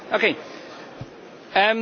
Frau Präsidentin, Herr Kommissar!